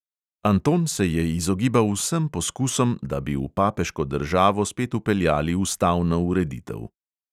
Anton se je izogibal vsem poskusom, da bi v papeško državo spet vpeljali ustavno ureditev.